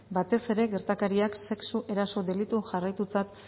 batez ere gertakariak sexu eraso delitu jarraitutzat